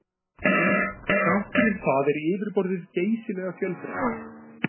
Þrátt fyrir það er yfirborðið geysilega fjölbreytt.